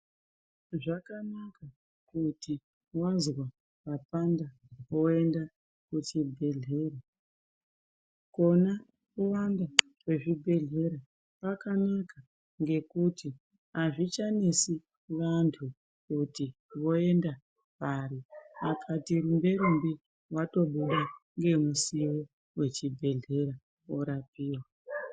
Zvakanaka kuti wazwa papanda woenda kuchibhedhlera. Kuona vantu vazvibhedhlera kwakanaka ngekuti azvichanesi vantu kuti voende pari, akatirumbe-rumbe wotomira ngemusiwo wechibhedhlera, wotorapiwa.